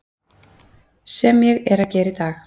Sem ég er að gera í dag.